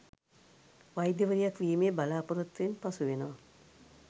වෛද්‍යවරියක් වීමේ බලාපොරොත්තුවෙන් පසු වෙනවා